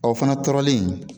Ɔ fana tɔɔrɔlen